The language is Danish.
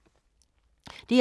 DR2